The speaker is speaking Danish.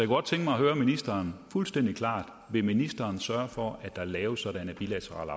godt tænke mig at høre ministeren fuldstændig klart vil ministeren sørge for at der laves sådanne bilaterale